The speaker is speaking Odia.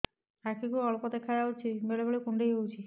ଆଖି କୁ ଅଳ୍ପ ଦେଖା ଯାଉଛି ବେଳେ ବେଳେ କୁଣ୍ଡାଇ ହଉଛି